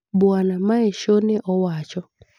Bwana Measho ne owacho